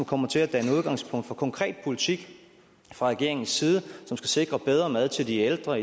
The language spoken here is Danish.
kommer til at danne udgangspunkt for en konkret politik fra regeringens side som skal sikre bedre mad til de ældre